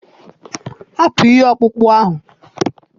Hapụ ihe ọkpụkpụ ahụ!